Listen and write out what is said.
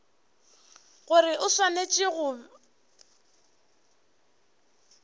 gore o swanetše go ba